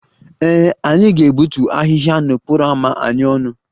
Ee, anyị ga-egbutu ahịhịa n'okporo ámá anyị ọnụ